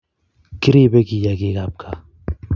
Kiripe kiyagik ab kaa